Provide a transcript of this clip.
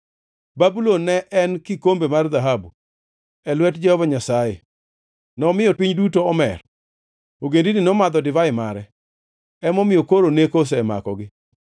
Babulon ne en kikombe mar dhahabu e lwet Jehova Nyasaye; nomiyo piny duto omer. Ogendini nomadho divai mare; emomiyo koro neko osemakogi.